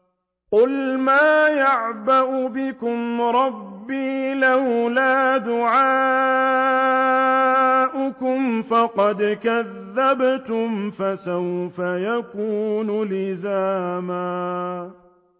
قُلْ مَا يَعْبَأُ بِكُمْ رَبِّي لَوْلَا دُعَاؤُكُمْ ۖ فَقَدْ كَذَّبْتُمْ فَسَوْفَ يَكُونُ لِزَامًا